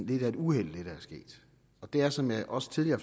lidt af et uheld det er som jeg også tidligere